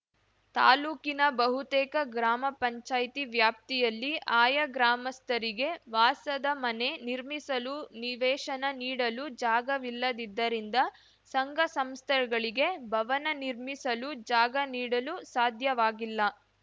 ತಾಲೂಕಿನ ಬಹುತೇಕ ಗ್ರಾಮ ಪಂಚಾಯತಿ ವ್ಯಾಪ್ತಿಯಲ್ಲಿ ಆಯಾ ಗ್ರಾಮಸ್ಥರಿಗೆ ವಾಸದ ಮನೆ ನಿರ್ಮಿಸಲು ನಿವೇಶನ ನೀಡಲು ಜಾಗವಿಲ್ಲದಿದ್ದರಿಂದ ಸಂಘ ಸಂಸ್ಥೆಗಳಿಗೆ ಭವನ ನಿರ್ಮಿಸಲು ಜಾಗ ನೀಡಲು ಸಾಧ್ಯವಾಗಿಲ್ಲ